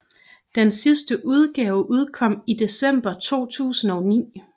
Den sidste udgave udkom i december 2009